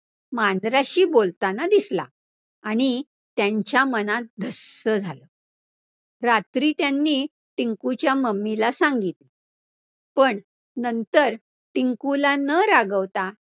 मांजराशी बोलताना दिसला आणि त्यांच्या मनात धस्स झालं. रात्री त्यांनी टिंकुच्या mummy ला सांगितलं, पण नंतर टिंकुला ण रागवता